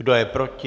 Kdo je proti?